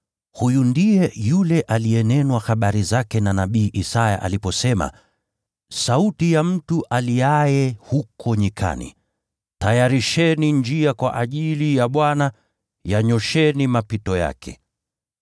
Huyu ndiye yule aliyenenwa habari zake na nabii Isaya aliposema: “Sauti ya mtu aliaye huko nyikani, ‘Tayarisheni njia kwa ajili ya Bwana, yanyoosheni mapito yake.’ ”